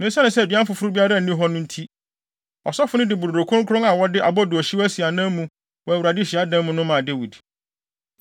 Na esiane sɛ aduan foforo biara nni hɔ no nti, ɔsɔfo no de brodo kronkron a wɔde abodoohyew asi anan mu wɔ Awurade hyiadan no mu maa Dawid.